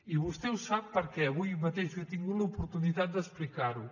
i vostè ho sap perquè avui mateix jo he tingut l’oportunitat d’explicar ho